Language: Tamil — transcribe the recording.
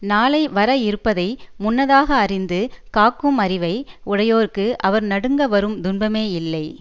நாளை வர இருப்பதை முன்னதாக அறிந்து காக்கும் அறிவை உடையோர்க்கு அவர் நடுங்க வரும் துன்பமே இல்லை